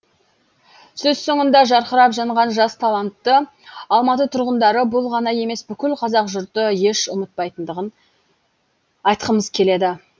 сөз соңында жарқырап жанған жас талантты алматы тұрғындары бұл ғана емес бүкіл қазақ жұрты еш ұмытпайтындығын айтқымыз келеді